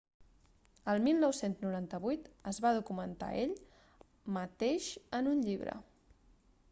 el 1998 es va documentar a ell mateix en un llibre